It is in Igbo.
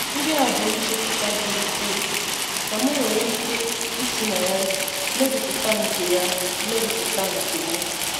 Ndị a bụ nchepụta dị ukwuu na m nwere ike ị sị na ya mmeguputa nke ya mmeguputa nke m.